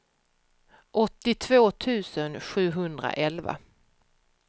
åttiotvå tusen sjuhundraelva